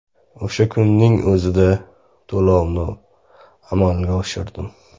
O‘sha kunning o‘zida to‘lovlarni amalga oshirdim.